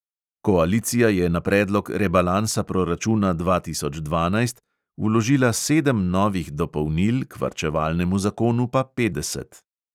Koalicija je na predlog rebalansa proračuna dva tisoč dvanajst vložila sedem novih dopolnil, k varčevalnemu zakonu pa petdeset.